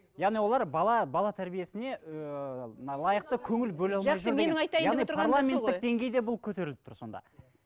яғни олар бала бала тәрбиесіне ііі мына лайықты көңіл бөле алмай жүр деген бұл көтеріліп тұр сонда